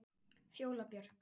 Fjóla Björk.